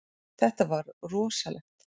Þetta var rosalegt.